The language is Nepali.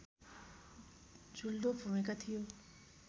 जुल्दो भूमिका थियो